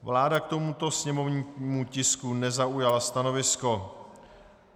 Vláda k tomuto sněmovnímu tisku nezaujala stanovisko.